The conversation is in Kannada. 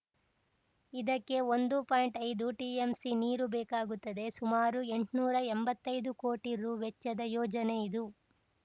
ಇದಕ್ಕೆ ಒಂದು ಪಾಯಿಂಟ್ಐದು ಟಿಎಂಸಿ ನೀರು ಬೇಕಾಗುತ್ತದೆ ಸುಮಾರು ಎಂಟ್ನೂರ ಎಂಬತ್ತೈದು ಕೋಟಿ ರುವೆಚ್ಚದ ಯೋಜನೆ ಇದು